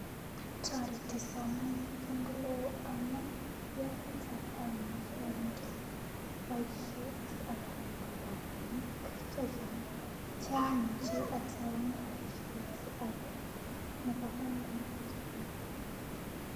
Toreti somanet eng oleoo amuu yeketar amuchi anyor boishet akanyoru robinik chachang' che amuji ataune boishet age nebo kamanut missing.